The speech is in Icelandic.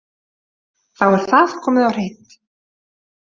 Þá er það komið á hreint.